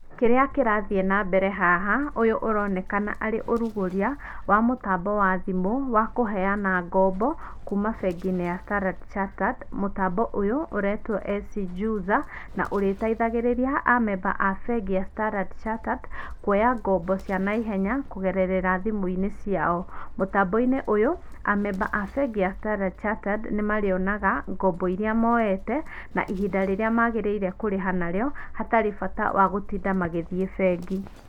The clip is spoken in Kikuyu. Kĩrĩa kĩrathiĩ na mbere haha, ũyũ ũronekana arĩ ũrugũria, wa mũtambo wa thimũ, wa kũheana ngombo kuma bengi-inĩ ya Standard Chartered. Mũtambo ũyũ ũretwo SC JUZA na ũrĩteithagĩrĩria amemba a bengi ya standard chartered kuoya ngombo cia na ihenya kũgerera thimũ-inĩ ciao. Mũtambo-inĩ uyũ, amemba a bengi ya standard chartered nĩ marĩonaga ngombo iria moete na ihinda rĩrĩa magĩrĩire kũrĩha narĩo hatarĩ bata wa gũtinda magĩthiĩ bengi.